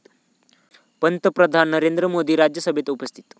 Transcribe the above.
पंतप्रधान नरेंद्र मोदी राज्यसभेत उपस्थित